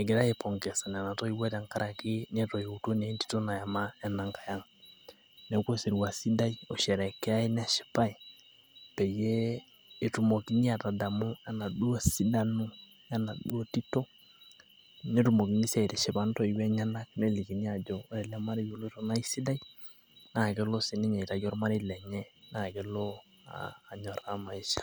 egirae aipongesa nena toiwuo.